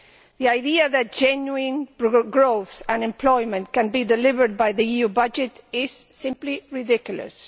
The idea that genuine growth and employment can be delivered by the EU budget is simply ridiculous.